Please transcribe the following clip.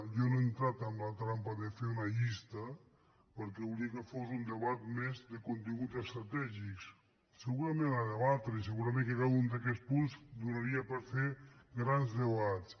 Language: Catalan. jo no he entrat en la trampa de fer una llista perquè volia que fos un debat més de continguts estratègics segurament a debatre i segurament que cada un d’aquests punts donaria per fer grans debats